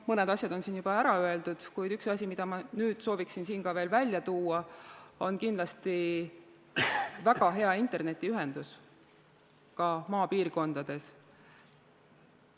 Mõned asjad on siin juba ära öeldud, kuid üks asi, mida ma sooviksin veel välja tuua, on kindlasti väga hea internetiühendus ka maapiirkondades.